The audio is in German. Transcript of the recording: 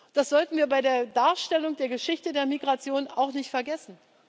Das sollten wir bei der Darstellung der Geschichte der Migration auch nicht vergessen.